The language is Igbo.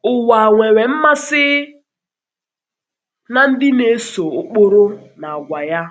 Ụwa nwere mmasị na nwere mmasị na ndị na-eso ụkpụrụ na àgwà ya.